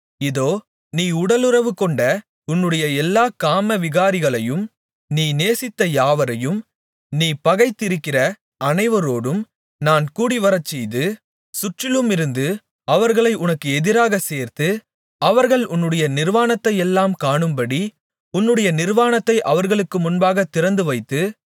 இதோ நீ உடலுறவுகொண்ட உன்னுடைய எல்லாக் காமவிகாரிகளையும் நீ நேசித்த யாவரையும் நீ பகைத்திருக்கிற அனைவரோடும் நான் கூடிவரச்செய்து சுற்றிலுமிருந்து அவர்களை உனக்கு எதிராக சேர்த்து அவர்கள் உன்னுடைய நிர்வாணத்தையெல்லாம் காணும்படி உன்னுடைய நிர்வாணத்தை அவர்களுக்கு முன்பாகத் திறந்துவைத்து